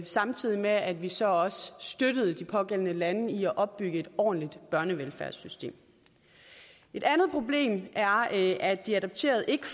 samtidig med at vi så også støttede de pågældende lande i at opbygge et ordentligt børnevelfærdssystem et andet problem er at at de adopterede ikke